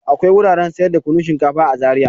Akwai wuraren sayar da kunun shinkafa a Zariya.